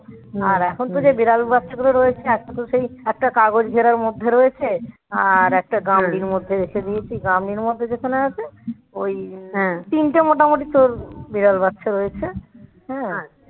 আর এখন তো যে বিড়াল বাচ্চা গুলো রয়েছে একটা তো সেই একটা কাগজ ঘেরার মধ্যে রয়েছে আর একটা গামলির মধ্যে রেখে দিয়েছি গামলির মধ্যে যেখানে আছে ওই তিনটে মোটামুটি তোর বিড়াল বাচ্চা হয়েছে